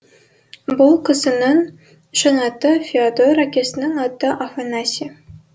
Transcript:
бұл кісінің шын аты феодор әкесінің аты афанасий